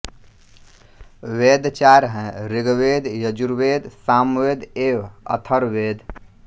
वेद चार हैं ऋग्वेद यजुर्वेद सामवेद एवं अथर्ववेद